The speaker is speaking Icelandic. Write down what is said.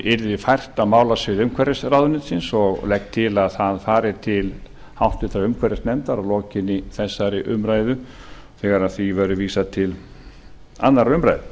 yrði fært á málasvið umhverfisráðuneytisins og legg til að það fari til háttvirtrar umhverfisnefndar að lokinni þessari umræðu þegar því verður vísað til annarrar